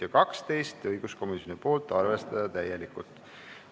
Ja kaheteistkümnes on õiguskomisjonilt, arvestada täielikult.